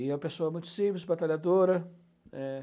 E é uma pessoa muito simples, batalhadora, né.